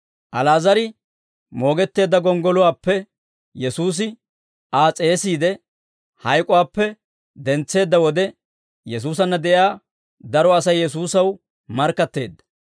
Ali'aazar moogetteedda gonggoluwaappe Yesuusi Aa s'eesiide, hayk'uwaappe dentseedda wode, Yesuusanna de'iyaa daro Asay Yesuusaw markkatteedda.